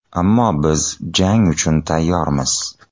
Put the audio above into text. Ammo biz jang uchun tayyormiz.